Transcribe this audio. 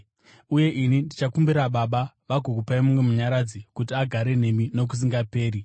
Uye ini ndichakumbira Baba, vagokupai mumwe Munyaradzi kuti agare nemi nokusingaperi,